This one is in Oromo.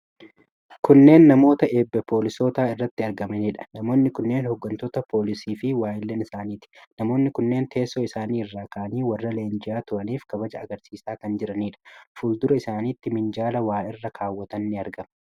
Kunneen namoota eebba poolisootaa irratti argamaniidha. Namoonni kunneen hooggantoota poolisii fi waayillan isaaniti. Namoonni kunneen teessoo isaanii irraa ka'anii warra leenji'aa turaniif kabaja agarsiisaa kan jiranidha. Fuuldura isaanitti minjaalli waa irra kaawwatan ni argama.